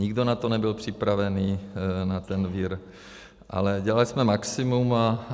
Nikdo na to nebyl připravený, na ten vir, ale dělali jsme maximum.